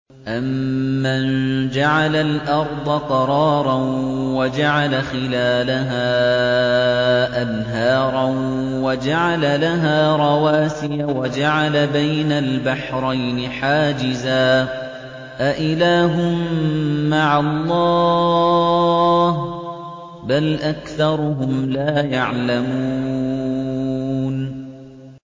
أَمَّن جَعَلَ الْأَرْضَ قَرَارًا وَجَعَلَ خِلَالَهَا أَنْهَارًا وَجَعَلَ لَهَا رَوَاسِيَ وَجَعَلَ بَيْنَ الْبَحْرَيْنِ حَاجِزًا ۗ أَإِلَٰهٌ مَّعَ اللَّهِ ۚ بَلْ أَكْثَرُهُمْ لَا يَعْلَمُونَ